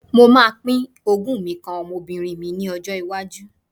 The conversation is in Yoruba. Mo máa pín ogún mi kan ọmọbìnrin mi lọ́jọ́ iwájú.